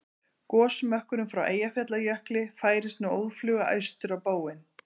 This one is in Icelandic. Gosmökkurinn frá Eyjafjallajökli færist nú óðfluga austur á bóginn.